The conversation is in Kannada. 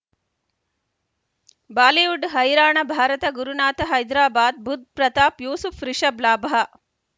ಬಾಲಿವುಡ್ ಹೈರಾಣ ಭಾರತ ಗುರುನಾಥ ಹೈದರಾಬಾದ್ ಬುಧ್ ಪ್ರತಾಪ್ ಯೂಸುಫ್ ರಿಷಬ್ ಲಾಭ